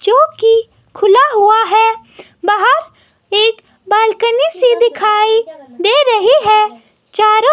जो कि खुला हुआ है बाहर एक बालकनी से दिखाई दे रही है चारों--